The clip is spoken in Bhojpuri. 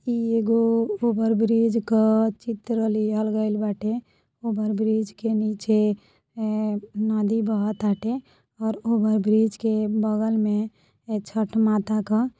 ई एगो ओवर ब्रिज क चित्र लिहल गइल बाटे। ब्रिज के नीचे एं नदी बहताटे और ब्रिज के बगल में छठ माता क --